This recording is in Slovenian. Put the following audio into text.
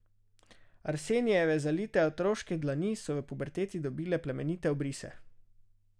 Arsenijeve zalite otroške dlani so v puberteti dobile plemenite obrise.